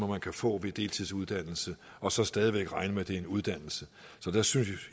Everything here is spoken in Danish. man kan få ved deltidsuddannelse og så stadig væk regne med at det er en uddannelse jeg synes